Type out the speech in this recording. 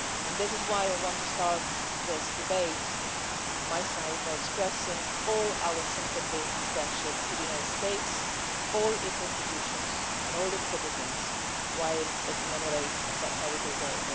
This is why I want to start this debate, from my side, by expressing all our sympathy and friendship to the USA, all its institutions and all its citizens, while they commemorate that terrible day.